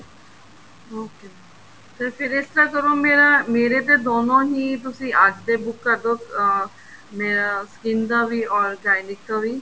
okay mam ਫ਼ਿਰ ਇਸ ਤਰ੍ਹਾਂ ਕਰੋ ਮੇਰਾ ਮੇਰੇ ਤੇ ਦੋਨੋ ਹੀ ਤੁਸੀਂ ਅੱਜ ਦੇ ਬੁੱਕ ਕਰਦੋ ਅਹ ਮੇਰਾ skin ਦਾ ਵੀ or Gynec ਵੀ